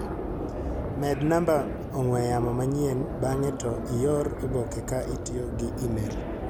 Med namba ong'ue yamo manyien bang'e to ior oboke ka itiyo gi imel.